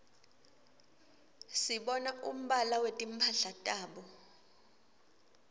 sibona umbala wetimphala tabo